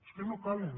és que no calen